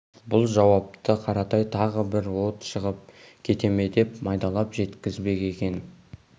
бұл жауапты қаратай тағы бір от шығып кете ме деп майдалап жеткізбек екен